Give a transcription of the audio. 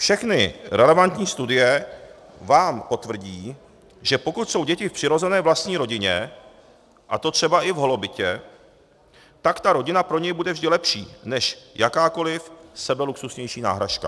Všechny relevantní studie vám potvrdí, že pokud jsou děti v přirozené vlastní rodině, a to třeba i v holobytě, tak ta rodina pro ně bude vždy lepší než jakákoli sebeluxusnější náhražka.